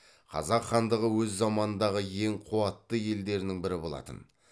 қазақ хандығы өз заманындағы ең қуатты елдерінің бірі болатын